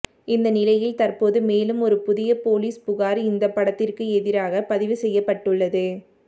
இந்த நிலையில் தற்போது மேலும் ஒரு புதிய போலீஸ் புகார் இந்த படத்திற்கு எதிராக பதிவு செய்யப்பட்டுள்ளது